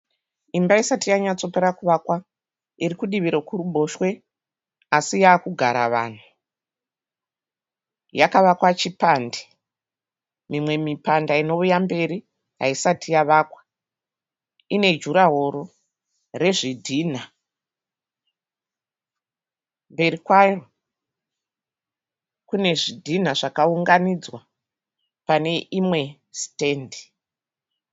Imba isati yanyatsakupera kuvakwa. Iri kudivi rekuruboshwe asi yavakugara vanhu. Yakavakwa chipande. Mimwe mipanda inouya mberi haisati yavakwa. Ine jurahoro rwezvidhinha. Mberi kwayo kune zvidhina zvakaunganidzwa pane imwe sitendi.